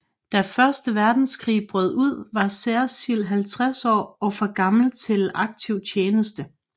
Da første verdenskrig brød ud var Cecil 50 år og for gammel til aktiv tjeneste